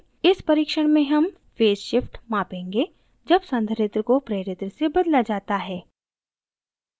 इस परिक्षण में हम फेज़ shift मापेंगे जब संधारित्र को प्रेरित्र से बदला जाता है